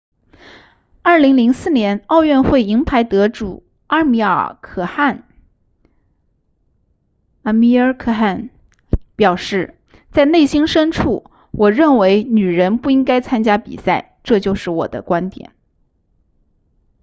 2004年奥运会银牌得主阿米尔可汗 amir khan 表示在内心深处我认为女人不应该参加比赛这是我的观点